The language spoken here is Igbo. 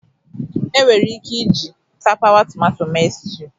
Enwere ike iji tapawa tomato mee stew